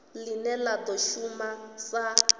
line la do shuma sa